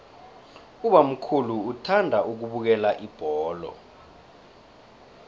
ubamkhulu uthanda ukubukela ibholo